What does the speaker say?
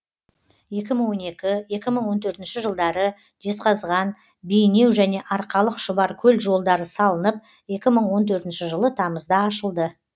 екі мың он екі екі мың он төртінші жылдары жезқазған бейнеу және арқалық шұбаркөл жолдары салынып екі мың он төртінші жылы тамызда ашылды